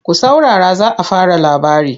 Ku saurara za a fara labari!